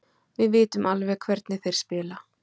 Við vitum alveg hvernig þeir spila.